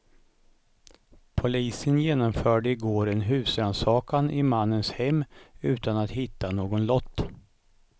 Polisen genomförde i går en husrannsakan i mannens hem utan att hitta någon lott.